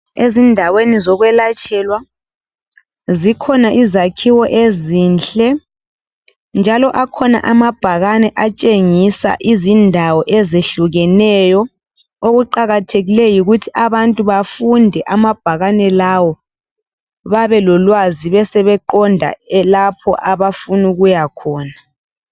Ezindaweni zikuyelatshelwa zikhona izakhiwo ezinhle njalo akhona ama bhakani atshengisa izindawo ezehlukeneyo okuqakathekileyo yikuthi abantu bafunde amabhakani lawo babe lolwazi besebeqonda lapho abafuna ukuya khona